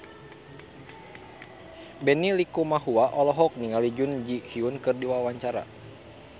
Benny Likumahua olohok ningali Jun Ji Hyun keur diwawancara